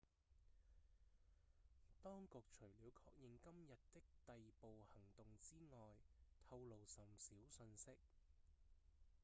當局除了確認今日的逮捕行動之外透露甚少訊息